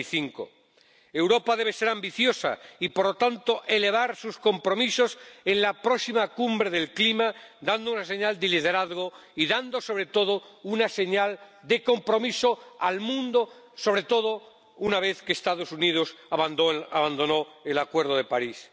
45 Europa debe ser ambiciosa y, por lo tanto, elevar sus compromisos en la próxima Cumbre del Clima dando una señal de liderazgo y dando, sobre todo, una señal de compromiso al mundo, sobre todo una vez que los Estados Unidos han abandonado el Acuerdo de París.